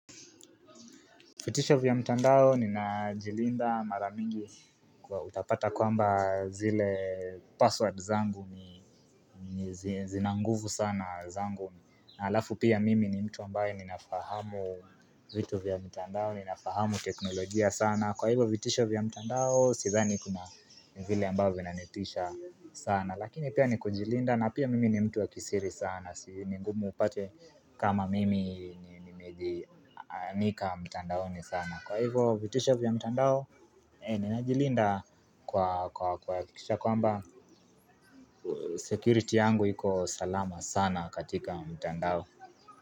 Vitisho vya mtandao, ninajilinda mara mingi kwa utapata kwamba zile password zangu ni zina nguvu sana zangu na alafu pia mimi ni mtu ambaye ninafahamu vitu vya mtandao, ninafahamu teknolojia sana Kwa hivyo vitisho vya mtandao, sidhani kuna vile ambavyo vinanitisha sana. Lakini pia ni kujilinda na pia mimi ni mtu wa kisiri sana ni ngumu upate kama mimi nimeji nika mtandaoni sana. Kwa hivo vitisho vya mtandao Ninajilinda kuakikishakisha kwamba security yangu hiko salama sana katika mtandao.